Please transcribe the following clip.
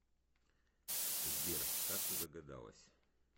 сбер как ты догадалась